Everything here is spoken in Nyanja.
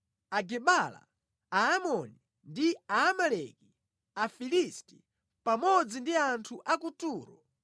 Agebala, Aamoni ndi Aamaleki, Afilisti, pamodzi ndi anthu a ku Turo.